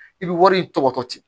I bɛ wari tɔgɔtɔ di